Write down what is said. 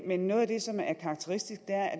men noget af det som er karakteristisk